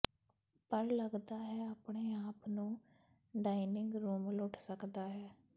ਪਰ ਲੱਗਦਾ ਹੈ ਆਪਣੇ ਆਪ ਨੂੰ ਡਾਇਨਿੰਗ ਰੂਮ ਲੁੱਟ ਸਕਦਾ ਹੈ